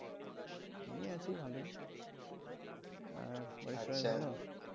এই আছি ভালোই আর